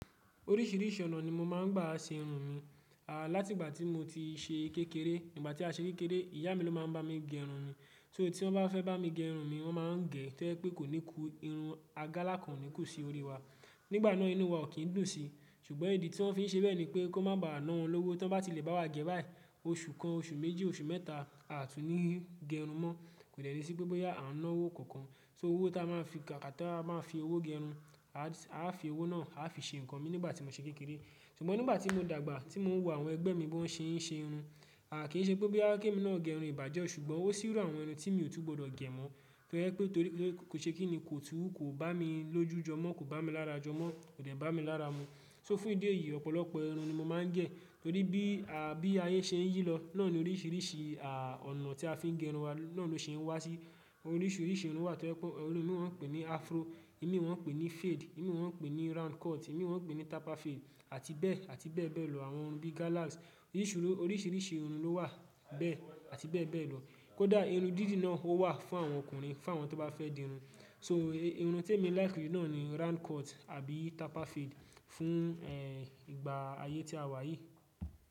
Oríṣìíríṣìí ọ̀nà ni mo máa ń gbà ṣe irun mi. À láti ìgbà tí mo ti ṣe kékeré, nígbà tí a ṣe kékeré, ìyá mi ló máa ń bá mi gẹ irun mi. So tí wọ́n bá fẹ́ bá mi gẹ irun mi, wọ́n máa ń gẹ̀ tó ẹ pé kò ní kú, irun agálá kan ò ní kú si orí wa. Nígbà náà inu wa ò kí ń dùn sí. Ṣùgbọ́n ìdí tí wọ́n fi ń ṣe bẹ́ẹ̀ ni pé kó má bà ná wọ́n lọ́wọ́ tí wọ́n bá ti lè bá wa gẹ̀ báyìí. Oṣù kan, oṣù méjì, oṣù mẹ́ta, a tún ní í gẹ irun mọ́. Kò dẹ́ ti sí pé bóyá a ń ná owó kankan. So owó tí a máa fi kà, ká tó bá máa fi owó gẹ irun, a fi owó náà a fi ṣe nǹkan mi nígbà tí mo ṣe kékeré. Ṣùgbọ́n nígbà tí mo dàgbà, tí mò ń wò àwọn ẹgbẹ́ mi bó ń ṣe, ń ṣe irun, a kì í ṣe pé bóyá kí mi náà gẹ irun ìbàjẹ́ ọ, ṣùgbọ́n ó sì rò àwọn irun tí mi ò tún gbọdọ̀ gẹ̀ mọ́. To je pé torí kò ṣe kí nì kò tún kò bá mi lójú jọmọ́, kò bá mi lára jọmọ́, kò dẹ̀ bá mi lára mu. So fún ìdí èyí, ọ̀pọ̀lọpọ̀ irun ni mo máa ń gẹ̀. Torí bí, à bí ayé ṣe ń yí lọ, náà ni oríṣìíríṣìí à ọ̀nà tí a fi ń gẹ irun wa, náà ló ṣe ń wá sí. Oríṣiríṣi irun wà tó jepe. Irun mi won pè ní Afro, irun méwàá pè ní Fade, irun méwàá pè ní Round Cut, irun méwàá pè ní Taper Fade àti bẹ́ẹ̀ àti bẹ́ẹ̀ bẹ́ẹ̀ lọ. Àwọn irun bí gállas, oríṣiríṣi irun ló wà, bẹ́ẹ̀ àti bẹ́ẹ̀ bẹ́ẹ̀ lọ. Kódà irun dídì náà ó wà fún àwọn ọkùnrin, fún àwọn tó bá fẹ́ di irun. So irun tí èmi láìkì náà ni Round Cut àbí Taper Fade fún eh ìgbà ayé tí a wà yìí.